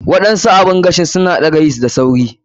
Waɗansu oven ɗin suna ɗaga yeast da sauri.